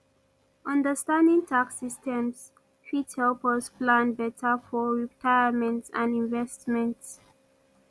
understanding tax systems fit help us plan beta for retirement and investments